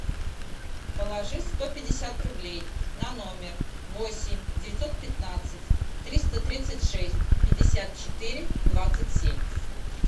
положи сто пятьдесят рублей на номер восемь девятьсот пятнадцать триста тридцать шесть пятьдесят четыре двадцать семь